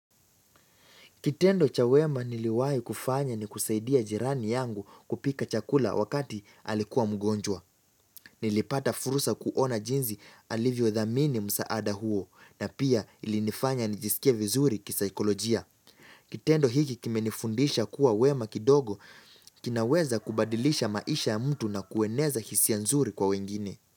Kitendo cha wema niliwai kufanya ni kusaidia jirani yangu kupika chakula wakati alikuwa mgonjwa. Nilipata fursa kuona jinsi alivyo dhamini msaada huo na pia ilinifanya nijisikia vizuri kisaikolojia. Kitendo hiki kime nifundisha kuwa wema kidogo, kinaweza kubadilisha maisha ya mtu na kueneza hisia nzuri kwa wengine.